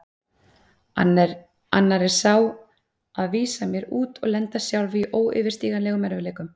Annar er sá að vísa mér út og lenda sjálf í óyfirstíganlegum erfiðleikum.